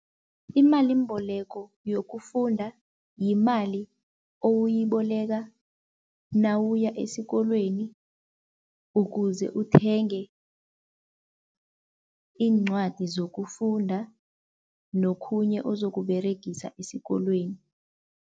Imalimboleko yokufunda yimali owuyiboleka nawuya esikolweni ukuze uthenge iincwadi zokufunda nokhunye ozokUberegisa esikolweni.